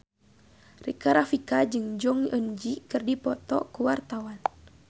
Rika Rafika jeung Jong Eun Ji keur dipoto ku wartawan